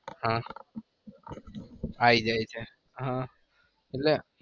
હા આયી જાય છે